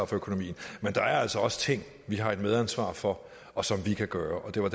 for økonomien er der altså ting vi har et medansvar for og som vi kan gøre noget